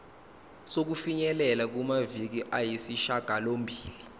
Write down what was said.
sokufinyelela kumaviki ayisishagalombili